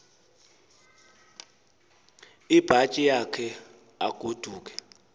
ibhatyi yakhe agoduke